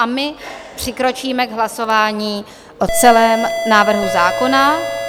A my přikročíme k hlasování o celém návrhu zákona.